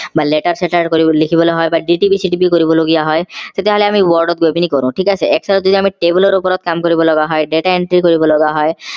বা letter চেতাৰ কৰি লিখিব লগা হয় বা dtp চিটিপি কৰিব লগিয়া হয় তেতিয়া হলে আমি word গৈ পিনি কৰো ঠিক আছে excel ত যেতিয়া আমি table ৰ ওপৰত কাম কৰিব লগা হয় data entry কৰিব লগা হয়